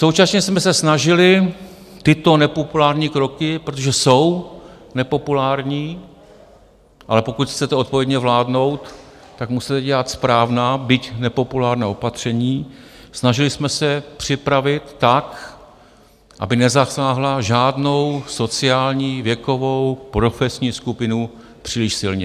Současně jsme se snažili tyto nepopulární kroky, protože jsou nepopulární, ale pokud chcete odpovědně vládnout, tak musíte dělat správná, byť nepopulární opatření, snažili jsme se připravit tak, aby nezasáhla žádnou sociální, věkovou, profesní skupinu příliš silně.